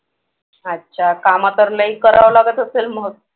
अच्छा कामं तर लई करावं लागत असेल मग